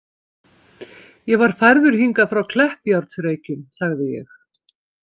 Ég var færður hingað frá Kleppjárnsreykjum, sagði ég.